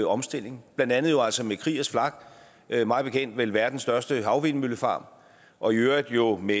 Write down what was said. omstilling blandt andet jo altså med kriegers flak mig bekendt vel verdens største havvindmøllefarm og i øvrigt øvrigt med